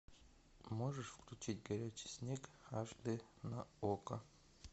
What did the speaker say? можешь включить горячий снег аш дэ на окко